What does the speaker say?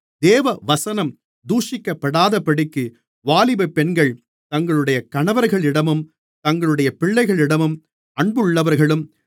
தேவவசனம் தூஷிக்கப்படாதபடிக்கு வாலிபப் பெண்கள் தங்களுடைய கணவர்களிடமும் தங்களுடைய பிள்ளைகளிடமும் அன்புள்ளவர்களும்